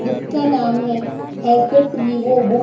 book का नाम है एस_एस वीवो बुक --